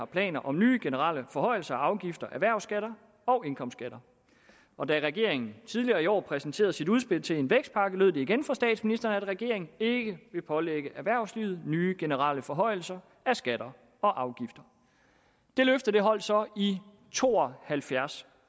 planer om nye generelle forhøjelser af afgifter og erhvervsskatter og indkomstskatter og da regeringen tidligere i år præsenterede sit udspil til en vækstpakke lød det igen fra statsministeren at regeringen ikke ville pålægge erhvervslivet nye generelle forhøjelser af skatter og afgifter det løfte holdt så i to og halvfjerds